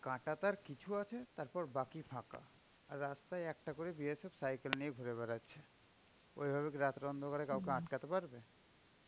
কাঁটা তার কিছু আছে, তারপর বাকি ফাঁকা. রাস্তায় একটা করে BSF cycle নিয়ে ঘুরে বেড়াচ্ছে. ওইভাবে রাতের অন্ধকারে কাউকে আটকাতে পারবে?